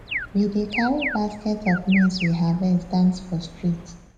we dey carry baskets of maize we harvest dance for streets